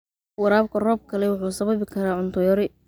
Waraabka roobka leh wuxuu sababi karaa cunto yari.